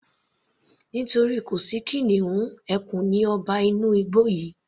Nítorí kò sí kìnìún, ẹkùn ni ọba inú igbó yìí